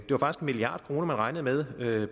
milliard kroner man regnede med at